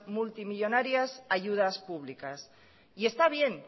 multimillónarias ayudas públicas y está bien